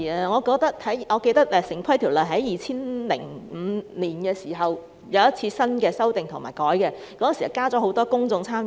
我記得《城市規劃條例》在2005年曾作出修訂，當時增設很多公眾參與。